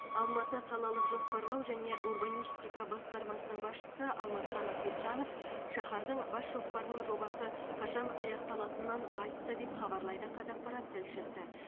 алматы қалалық жоспарлау және урбанистика басқармасының басшысы алмасхан ахмеджанов шаһардың бас жоспарының жобасы қашан аяқталатынын айтты деп хабарлайды қазақпарат тілшісі